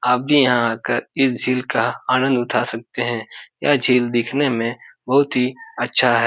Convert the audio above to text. आप भी यहाँ आकर इस झील का आनंद उठा सकते हैं | यह झील दिखने में बहुत ही अच्छा है ।